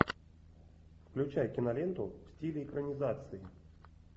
включай киноленту в стиле экранизации